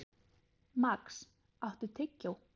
Max, áttu tyggjó?